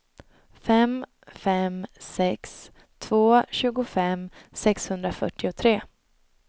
fem fem sex två tjugofem sexhundrafyrtiotre